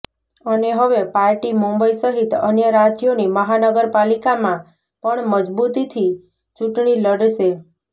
અને હવે પાર્ટી મુંબઇ સહિત અન્ય રાજ્યોની મહાનગરપાલિકામાં પણ મજબૂતીથી ચૂંટણી લડશે